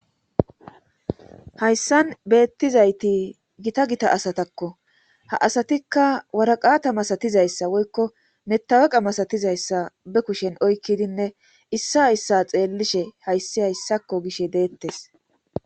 Hayssan beettizayti gita gita asatakko ha asatikka waraqaata masatizayssa woykko metaweqa masatizayssa be kushen oykkidinne issa issa xeellishe hayssi hayssakko gish deettes.